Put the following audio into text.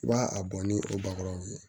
I b'a a bɔn ni o bakuraw ye